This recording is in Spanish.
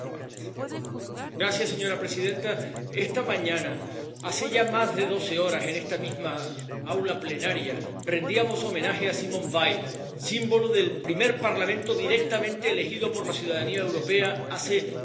Señora presidenta, esta mañana, hace ya más de doce horas, en esta misma aula plenaria, rendíamos homenaje a Simone Veil, símbolo del primer Parlamento directamente elegido por la ciudadanía europea hace 38 años.